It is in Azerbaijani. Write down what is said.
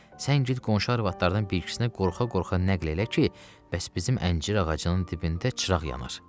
Sən get qonşu arvadlardan bir ikisini qorxa-qorxa nəql elə ki, bəs bizim əncir ağacının dibində çıraq yanar.